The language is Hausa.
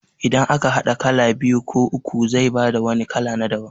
Idan aka haɗa kala biyu ko uku zai bada wani kala na daban